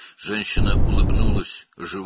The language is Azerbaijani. Qadın heyvana gülümsədi.